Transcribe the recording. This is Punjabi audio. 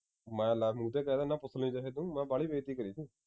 ਮੈਂ ਲੈ ਮੂੰਹ ਤੇ ਕਹਿ ਦਿਨਾਂ ਜਿਹੇ ਨੂੰ ਮੈਂ ਬਾਹਲੀ ਬੇਇਜਤੀ ਕਰੀਦੀ